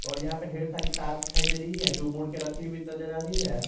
और यहां पे ढेर सारी तार दिखाई दे रही है जो मोड़ के रखी हुई नजर आ रही है।